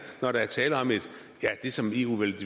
når der er tale om det som eu vil